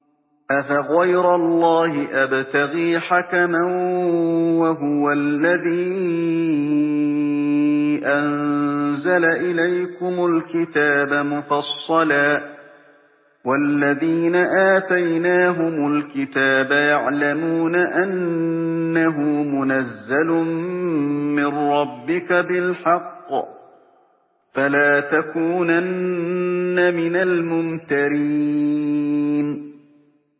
أَفَغَيْرَ اللَّهِ أَبْتَغِي حَكَمًا وَهُوَ الَّذِي أَنزَلَ إِلَيْكُمُ الْكِتَابَ مُفَصَّلًا ۚ وَالَّذِينَ آتَيْنَاهُمُ الْكِتَابَ يَعْلَمُونَ أَنَّهُ مُنَزَّلٌ مِّن رَّبِّكَ بِالْحَقِّ ۖ فَلَا تَكُونَنَّ مِنَ الْمُمْتَرِينَ